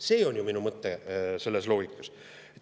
See on ju minu mõte selles loogikas.